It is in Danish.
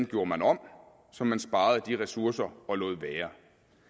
gjorde man om så man sparede de ressourcer og lod være